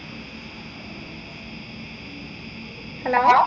hello